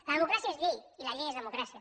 la democràcia és llei i la llei és democràcia